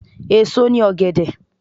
Èso ni ọ̀gẹ̀dẹ̀.